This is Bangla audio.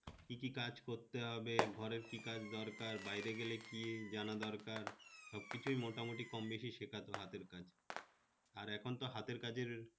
কি কি কাজ করতে হবে? ঘরে কি কাজ দরকার? বাইরে গেলে কি জানা দরকার? সবকিছু মোটামুটি কমবেশি শেখাতো হাতের কাজ, আর এখন তো হাতের কাজের